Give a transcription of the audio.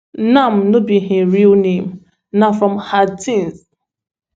nam no be im real name na from ha tinh